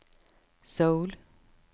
Seoul